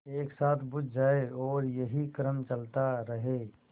एक साथ बुझ जाएँ और यही क्रम चलता रहे